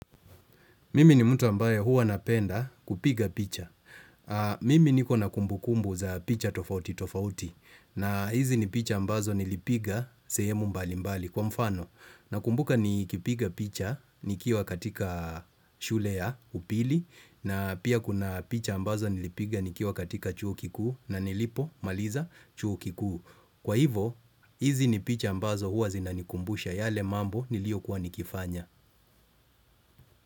Mimi ni mtu ambaye huwa napenda kupiga picha. Mimi niko na kumbu kumbu za picha tofauti tofauti. Na hizi ni picha ambazo nilipiga sehemu mbali mbali kwa mfano. Na kumbuka ni kipiga picha nikiwa katika shule ya upili. Na pia kuna picha ambazo nilipiga nikiwa katika chuo kikuu na nilipo maliza chuo kikuu. Kwa hivo hizi ni picha ambazo huwa zinanikumbusha yale mambo niliokua nikifanya.